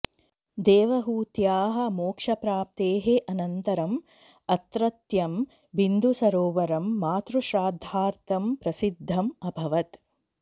देवहूत्याः मोक्षप्राप्तेः अनन्तरम् अत्रत्यं बिन्दुसरोवरं मातृश्राद्धार्थं प्रसिद्धम् अभवत्